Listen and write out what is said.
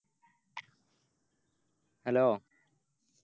Hello